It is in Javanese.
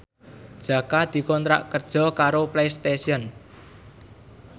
Jaka dikontrak kerja karo Playstation